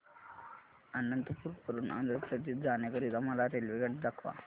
अनंतपुर वरून आंध्र प्रदेश जाण्या करीता मला रेल्वेगाडी दाखवा